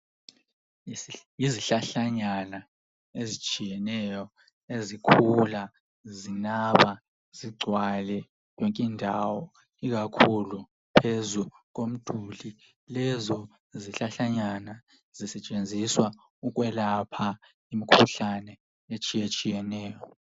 Yizihlahlanyana ezitshiyeneyo ezikhula zinaba zigcwale yonkindawo ikakhulu phezu. Lezo zihlahlanyana zisetshenziswa ukwelapha imikhuhlane etshiyetshiyeneyo.